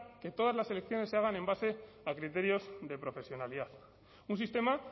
que todas las elecciones se haga en base a criterios de profesionalidad un sistema